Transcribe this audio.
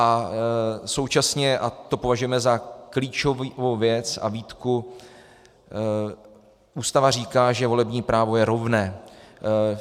A současně, a to považujeme za klíčovou věc a výtku, Ústava říká, že volební právo je rovné.